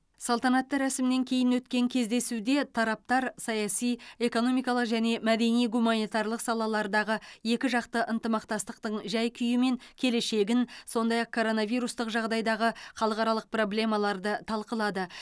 салтанатты рәсімнен кейін өткен кездесуде тараптар саяси экономикалық және мәдени гуманитарлық салалардағы екіжақты ынтымақтастықтың жай күйі мен келешегін сондай ақ коронавирустық жағдайдағы халықаралық проблемаларды талқылады